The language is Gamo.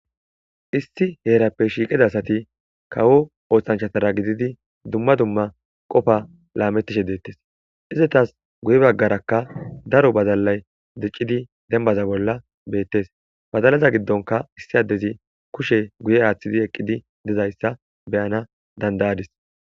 issi heerappe shiiqida asati kawo oohtanchatara gididi dumma dumma qofa laamettishe deettes izetas guye baggarakka daro bazalalay diccidi dembaza bolla beettes bazalaza giddonka issi addezi kushe guye aaththidi eqqidi dizayssa beyana dandayadis